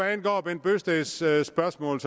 herre bent bøgsteds spørgsmål